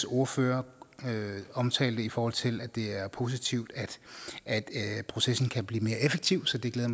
ordfører omtalte i forhold til at det er positivt at processen kan blive mere effektiv så det glæder